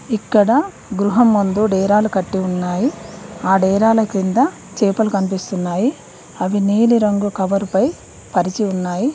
ఇక్కడ గృహం నందు నేరాలు కట్టి ఉన్నాయి ఆ డేరాల కింద చేపలు కనిపిస్తున్నాయి అవి నీలి రంగు కవర్పై పరిచి ఉన్నాయి.